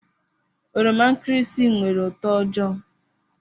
Oroma nkịrịsị nwere uto ojoo.